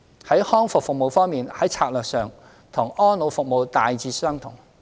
在康復服務方面，在策略上與安老服務大致相同。